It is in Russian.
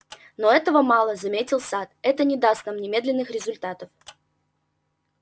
но этого мало заметил сатт это не даст нам немедленных результатов